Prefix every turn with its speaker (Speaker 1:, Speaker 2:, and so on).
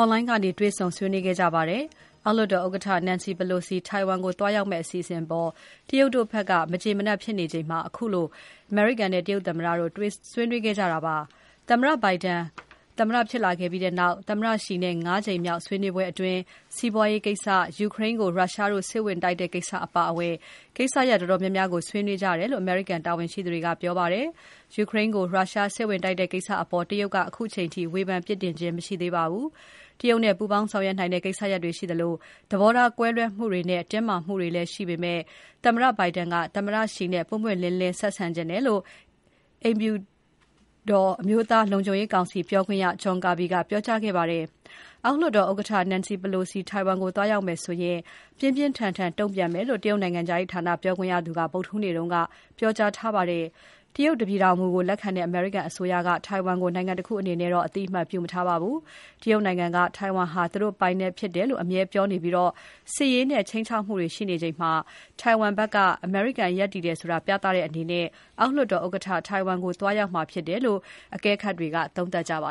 Speaker 1: Online ကနေ တွေ့ဆုံဆွေးနွေးခဲ့ကြပါတယ်။ အောက်လွှတ်တော် ဥက္ကဋ္ဌ Nancy Pelosi ထိုင်ဝမ်ကို သွားရောက်မယ့်အစီအစဉ်အပေါ် တရုတ်တို့ ဘက်က မကျေမနပ်ဖြစ်နေချိန် ခုလို အမေရိကန်နဲ့ တရုတ်သမ္မတို့ ဆွေးနွေးခဲ့ကြတာပါ။ သမ္မတ Biden ဖြစ်လာပြီးနောက် သမ္မတ Xi နဲ့ ၅ ကြိမ်မြောက် ဆွေးနွေးပွဲအတွင်း စီပွားရေးကိစ္စ၊ ယူကရိန်းကို ရုရှားတို့ စစ်ဝင်တိုက်တဲ့ကိစ္စအပါအဝင် ကိစ္စရပ်တော်တော်များများကို ဆွေးနွေးကြတယ်လို့ အမေရိကန်တာဝန်ရှိသူတွေက ပြောပါတယ်။ ယူကရိန်းကို ရုရှားစစ်ဝင်တိုက်တဲ့ကိစ္စအပေါ် တရုတ်က ခုချိန်ထိ ဝေဖန်ပြစ်တင်ခြင်း မရှိသေးပါဘူး။ တရုတ်နဲ့ ပူးပေါင်းဆောင်ရွက်နိုင်တဲ့ ကိစ္စရပ်တွေရှိသလို သဘောထားကွဲလွဲမှုတွေနဲ့ တင်းမာမှုတွေလည်းရှိနေပေမဲ့ သမ္မတ Biden က သမ္မတ Xi နဲ့ ပွင့်ပွင့်လင်းလင်း ဆက်ဆံချင်တယ်လို့ အိမ်ဖြူတော် အကျိုးဆက်တွေရှိလာမယ်လို့ အမျိုးသားလုံခြုံရေးကောင်စီ ပြောခွင့်ရ John Kirby ကပြောကြားခဲ့ပါတယ်။ အောက်လွှတ်တော်ဥက္ကဋ္ဌ Nancy Pelosi ထိုင်ဝမ်ကို သွားရောက်မယ်ဆိုရင် ပြင်းပြင်းထန်ထန်တုံ့ပြန်မယ်လို့ တရုတ်နိုင်ငံခြားရေးဌာနပြောခွင့်ရသူက ဗုဒ္ဓဟူးနေ့ က ပြောကြားခဲ့ပါတယ်။ တရုတ်တပြည်ထောင်မူကို လက်ခံတဲ့ အမေရိကန်အစိုးရက ထိုင်ဝမ်ကို နိုင်ငံတခုအနေနဲ့ အသိအမှတ်ပြုမထားပါဘူး။ တရုတ်နိုင်ငံက ထိုင် ဝမ်ဟာ သူတို့ပိုင်နက်ဖြစ်တယ်လို့ ပြောပြီး စစ်ရေးနဲ့ ခြိမ်းခြောက်မှုတွေရှိနေချိန်မှာ ထိုင်ဝမ်ဘက်က အမေရိကန်ဘက်က ရပ်တည်တယ်ဆိုတာ ပြသတဲ့အနေနဲ့ အောက်လွှတ်တော်ဥက္ကဋ္ဌ ထိုင်ဝမ်ကို သွားရောက်မှာဖြစ်တယ်လို့ အကဲခတ်တွေက သုံးသပ်နေပါ